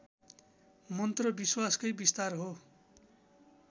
मन्त्र विश्वासकै विस्तार हो